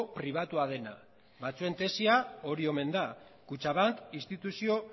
pribatua dena batzuen tesia hori omena da kutxabank instituzio